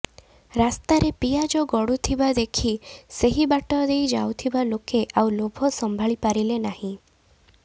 ରାସ୍ତାରେ ପିଆଜ ଗଡ଼ୁଥିବା ଦେଖି ସେହି ବାଟ ଦେଇ ଯାଉଥିବା ଲୋକେ ଆଉ ଲୋଭ ସମ୍ଭାଳି ପାରିଲେ ନାହିଁ